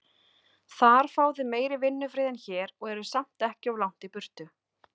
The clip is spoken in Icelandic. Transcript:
Þar fáið þið meiri vinnufrið en hér, og eruð samt ekki of langt í burtu.